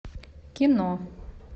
кино